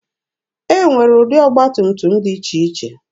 E nwere ụdị ọgba tum tum dị iche iche.